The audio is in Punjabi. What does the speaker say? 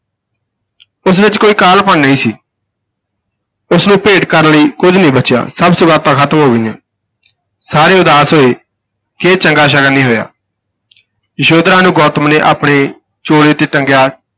ਉਸ ਵਿਚ ਕੋਈ ਕਾਹਲਾਪਣ ਨਹੀਂ ਸੀ ਉਸ ਨੂੰ ਭੇਟ ਕਰਨ ਲਈ ਕੁੱਝ ਨਹੀਂ ਬਚਿਆ, ਸਭ ਸੁਗਾਤਾਂ ਖਤਮ ਹੋ ਗਈਆਂ, ਸਾਰੇ ਉਦਾਸ ਹੋਏ ਕਿ ਇਹ ਚੰਗਾ ਸ਼ਗਨ ਨਹੀਂ ਹੋਇਆ ਯਸ਼ੋਧਰਾ ਨੂੰ ਗੌਤਮ ਨੇ ਆਪਣੇ ਚੋਲੇ ਤੇ ਟੰਗਿਆ